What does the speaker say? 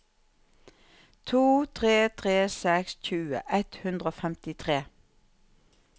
to tre tre seks tjue ett hundre og femtitre